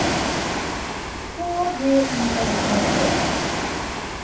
K V I N N E R